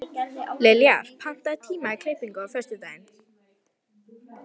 Liljar, pantaðu tíma í klippingu á föstudaginn.